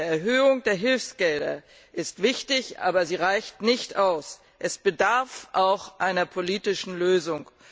Eine Erhöhung der Hilfsgelder ist zwar wichtig, aber sie reicht nicht aus, es bedarf auch einer politischen Lösung.